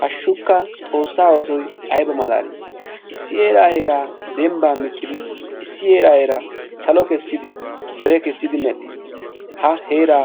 Hashshukka xoossa oosoy ayba malali! Issi heera heera dembban miccid issi issi heeraa salo kessidi, dere kessidi medhdhis. Ha heera